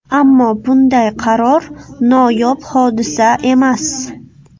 Ammo bunday qaror noyob hodisa emas.